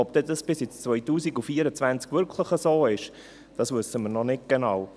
Ob es dann bis ins Jahr 2024 wirklich so bleibt, wissen wir noch nicht genau.